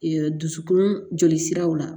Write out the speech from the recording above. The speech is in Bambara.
dusukun jolisiraw la